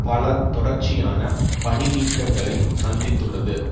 பல தொடர்ச்சியான பணி நீக்கங்களை சந்தித்துள்ளது